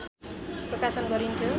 प्रकाशन गरिन्थ्यो